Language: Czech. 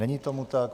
Není tomu tak.